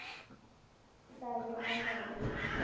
tla be a na le